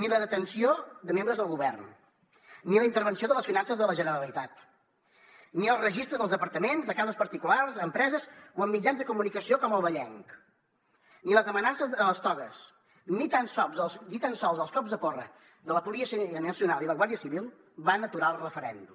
ni la detenció de membres del govern ni la intervenció de les finances de la generalitat ni els registres dels departaments de cases particulars d’empreses o en mitjans de comunicació com el vallenc ni les amenaces de les togues ni tan sols els cops de porra de la policia nacional i la guàrdia civil van aturar el referèndum